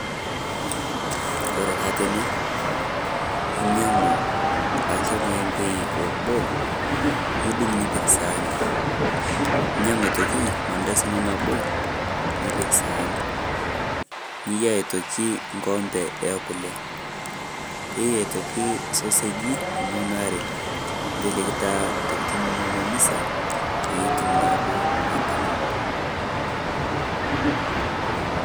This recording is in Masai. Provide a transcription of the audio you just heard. Kore taa tene enyaang'u ake elmaembi loboo niduung' nipiik saani . Ninyaang''u aitoki maandasi enoo napoo nipiik saani. Niyaa aitoki ng'opee e kulee, teiyei aitoki sosejii enono aare. Teneleeki taa ntokitin enono misaa peiye etuum naa doo atamaa.